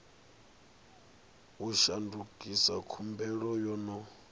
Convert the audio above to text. u shandukisa khumbelo yo no